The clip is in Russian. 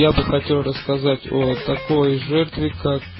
я бы хотел рассказать о такой жертве как